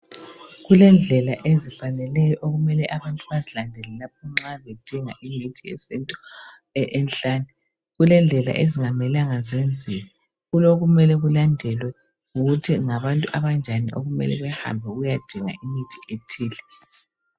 Kulendlela ezifaneleyo abantu okumele bazilandele lapho nxa bedinga imithi yesintu enhlane, kulendlela okungamelanga zenziwe. Kulokumele kulandelwe ukuthi ngabantu abanjani okumele behambe ukuyadinga imithi ethile.